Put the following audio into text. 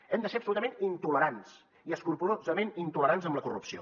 hem de ser absolutament intolerants i escrupolosament intolerants amb la corrupció